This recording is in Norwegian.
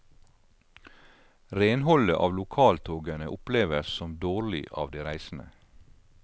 Renholdet av lokaltogene oppleves som dårlig av de reisende.